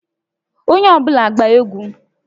Onye ọ bụla gbaa egwu!